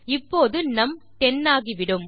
இப்போது நும் 10 ஆகிவிடும்